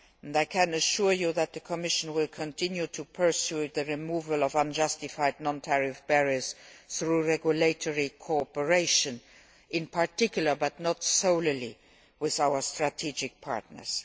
I can assure you that the Commission will continue to pursue the removal of unjustified non tariff barriers through regulatory cooperation with, in particular but not solely, our strategic partners.